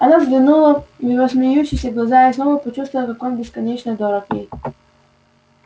она взглянула в его смеющиеся глаза и снова почувствовала как он бесконечно дорог ей